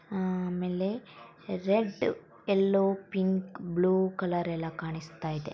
ಆ ಆಮೇಲೆ red yellow pink blue colour ಎಲ್ಲ ಕಾಣಿಸ್ತಾ ಇದೆ.